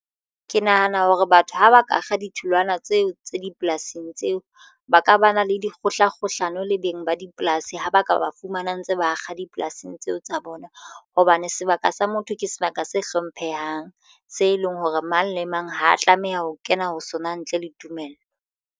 Ke nahana hore batho ha ba ka kga ditholwana tseo tse dipolasing tseo ba ka ba na le dikgohlakgohlano le beng ba dipolasi ho ba ka ba fumana ntse bakga dipolasing tseo tsa bona. Hobane sebaka sa motho ke sebaka se hlomphehang se leng hore mang le mang ha tlameha ho kena ho sona ntle le tumello.